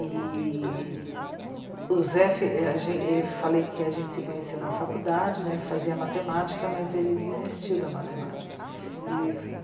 E o Zé fi... é, a gen, ele, eu falei que a gente se conheceu na faculdade, né, ele fazia matemática, mas ele desistiu da matemática.